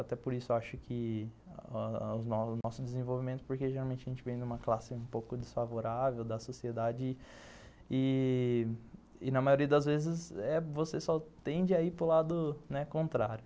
Até por isso acho que ãh o nosso desenvolvimento, porque geralmente a gente vem de uma classe um pouco desfavorável da sociedade ih e na maioria das vezes você só tende a ir para o lado contrário.